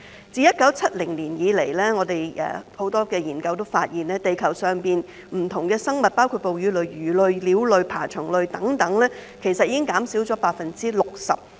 自1970年以來，很多研究都發現地球上不同的生物，包括哺乳類、魚類、鳥類、爬蟲類等，已經減少了 60%。